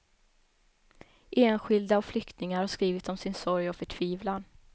Enskilda och flyktingar har skrivit om sin sorg och förtvivlan.